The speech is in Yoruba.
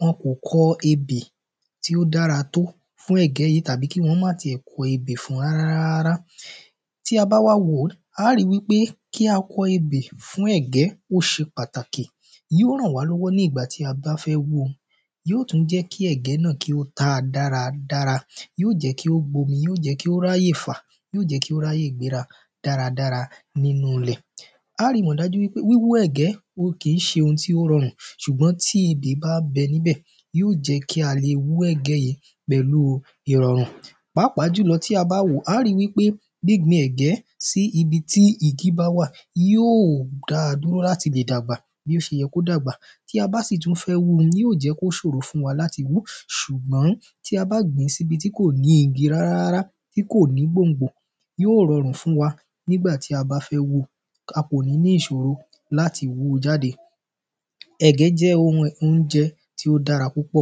wọn kò kọ ebè tí ó dára tó fún ẹ̀gbẹ́ yìí tàbí kí wọn ó máà tilẹ̀ kọ ebè fun rárárárárá tí a báwá wò ó a ó ri wípé kí a kọ ebè fún ẹ̀gbẹ́ óṣe pàtàkì yíó ràn wá lọ́wọ́ ní ìgbà tí a bá fẹ wú u yíò tún jẹ́ kí ẹ̀gbẹ́ náà kí ó ta dáradára yíò jẹ́ kí ó gbomi yíò jẹ́ kí ó ráyè fà yíò jẹ́ kí o ráyé gbéra dáradára nínú ilẹ̀ a á ri mọ̀ dájú wípé wíwú ẹ̀gbẹ́ wo kìí ṣe ohun tí ó rọrùn ṣùgbọ́n tí ebè bá ń bẹ níbẹ̀ yíò jẹ́ kí a le wú ẹ̀gbẹ́ yìí pẹ̀lú u ìrọ̀rùn pàápà jùlọ tí a bá wòó a á ri wípé gbíngbin ẹ̀gbẹ́ síbi tí igí báwà yóò dáa dúró láti lè dàgbà bòṣe yẹ kí ó dàgbà tí abá sì tún fẹ́ wúu yíò jẹ́ kó ṣòro fún wa láti wú súgbọ́n tí abà gbìín síbi tí kò ní igi rárárárá tí kò ní gbòngbò yóò rọràn fún wa nígbà tí abá fẹ́ wu akò ní ìṣòro láti wú u jàde ẹ̀gbẹ́ jẹ́ ohun óunjẹ tó dára púpò